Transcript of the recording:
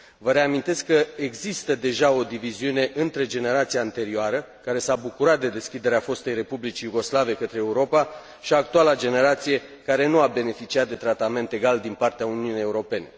Vă reamintesc că există deja o diviziune între generația anterioară, care s a bucurat de deschiderea fostei Republici Iugoslave către Europa și actuala generație, care nu a beneficiat de tratament egal din partea Uniunii Europene.